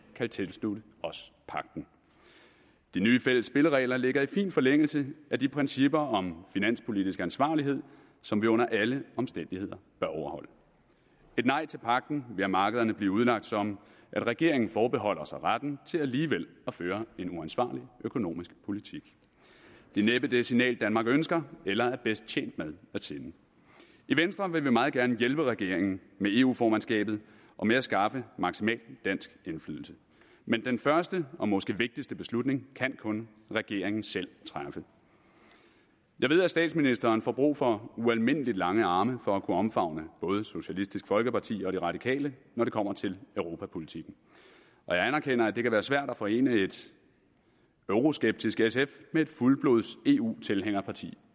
kan tilslutte os pagten de nye fælles spilleregler ligger i fin forlængelse af de principper om finanspolitisk ansvarlighed som vi under alle omstændigheder bør overholde et nej til pagten vil af markederne blive udlagt som om regeringen forbeholder sig retten til alligevel at føre en uansvarlig økonomisk politik det er næppe det signal danmark ønsker eller er bedst tjent med at sende i venstre vil meget gerne hjælpe regeringen med eu formandskabet og med at skaffe maksimal dansk indflydelse men den første og måske vigtigste beslutning kan kun regeringen selv træffe jeg ved at statsministeren får brug for ualmindelig lange arme for at kunne omfavne både socialistisk folkeparti og de radikale når det kommer til europapolitikken og jeg anerkender at det kan være svært at forene et euroskeptisk sf med et fuldblods eu tilhænger parti